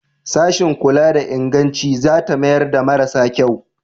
Sashin kula da inganci za ta mayar da marasa kyau?